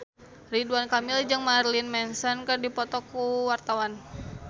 Ridwan Kamil jeung Marilyn Manson keur dipoto ku wartawan